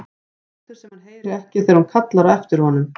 Lætur sem hann heyri ekki þegar hún kallar á eftir honum.